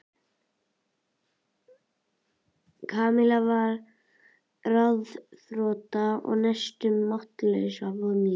Kamilla varð ráðþrota og næstum máttlaus af vonleysi.